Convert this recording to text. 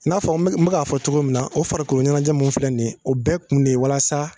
N'a fɔ n bɛ k'a fɔ cogo min na o farikoloɲɛnajɛ min filɛ nin ye o bɛɛ kun de ye walasa